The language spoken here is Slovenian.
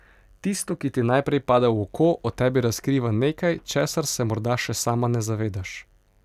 Tisto, ki ti najprej pade v oko, o tebi razkriva nekaj, česar se morda še sama ne zavedaš.